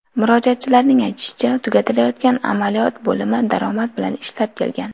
Murojaatchilarning aytishicha tugatilayotgan amaliyot bo‘limi daromad bilan ishlab kelgan.